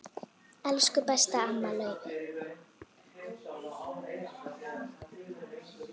Elsku besta amma Laufey.